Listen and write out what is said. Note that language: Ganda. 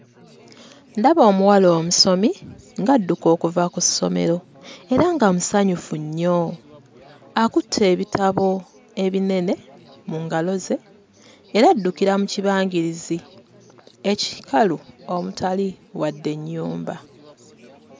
Ndaba omuwala omusomi ng'adduka okuva ku ssomero era nga musanyufu nnyo akutte ebitabo ebinene mu ngalo ze yali addukira mu kibangirizi ekikalu omutali wadde ennyumba.